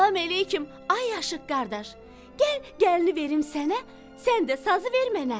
"Salam əleyküm, ay aşiq qardaş, gəl gəlini verim sənə, sən də sazı ver mənə."